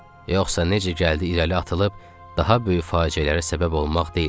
Yoxsa necə gəldi irəli atılıb, daha böyük fəlakətlərə səbəb olmaq deyildi.